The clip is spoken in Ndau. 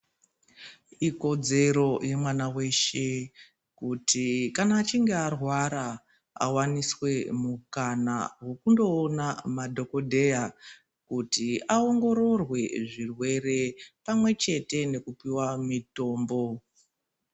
Ikodzero yemwana weshe kuti kana achinge arwara awaniswe mukana wokundoona madhogodheya kuti aongororwe zvirwere pamwechete nekupiwa mitombo.